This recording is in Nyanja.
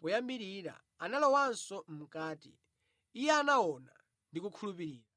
moyambirira, analowanso mʼkati, iye anaona ndi kukhulupirira.